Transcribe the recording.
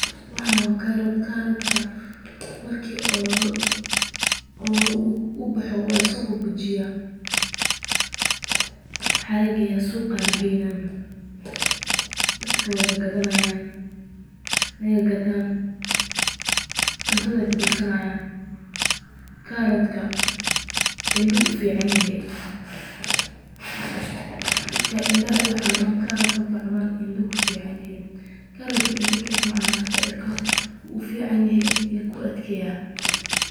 Waxaan waa karoot, marka uu baxo waa lasoo bujiyaa, suuqa ayaa lageeya, dadka waa gadanaayin, indaha ayuu ufican yahay, indaha lee maahan ilkaha xitaa wuu ufican yahay.